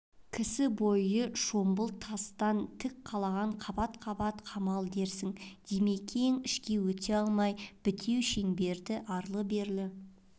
кісі бойы шомбал тастан тік қалаған қабат-қабат қамал дерсің димекең ішке өте алмай бітеу шеңберді арлы-берлі